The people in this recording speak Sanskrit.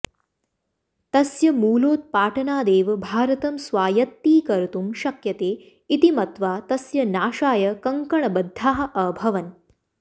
तस्य मूलोत्पाटनादेव भारत्ं स्वायत्तीकर्तुं शक्यते इति मत्वा तस्य नाशाय कङ्कणबध्दाः अभवन्